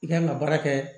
I kan ka baara kɛ